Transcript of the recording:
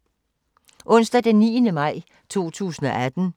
Onsdag d. 9. maj 2018